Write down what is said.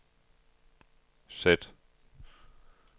sæt